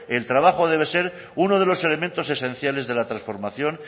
el trabajo debe ser uno de los elementos esenciales de la transformación